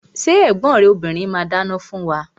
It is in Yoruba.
Ṣé ẹ̀gbọ́n rẹ obìrin ma dáná fún wa?